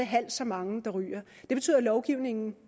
halvt så mange der ryger det betyder at lovgivningen